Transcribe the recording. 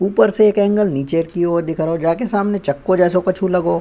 ऊपर से एक एंगल नीचे की ओर दिख रहो जाके सामने चक्कू जेसो कछु लगो।